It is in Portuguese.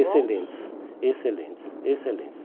bons? Excelentes, excelentes, excelentes.